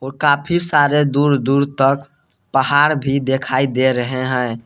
और काफ़ी सारे दूर दूर तक पहाड़ भी दिखाई दे रहे हैं।